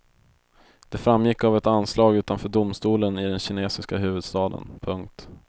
Det framgick av ett anslag utanför domstolen i den kinesiska huvudstaden. punkt